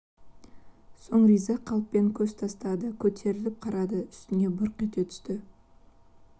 соң риза қалыппен көз тастады көтерңліп қардың үстіне бұрқ ете түсті